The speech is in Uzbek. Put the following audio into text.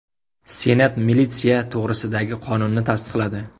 Senat militsiya to‘g‘risidagi qonunni tasdiqladi.